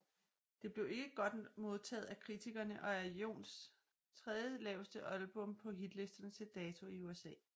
Det blev ikke godt modtaget af kritikerne og er Johns tredje laveste album på hitlisterne til dato i USA